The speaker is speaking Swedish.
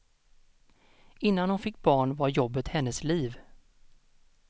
Innan hon fick barn var jobbet hennes liv.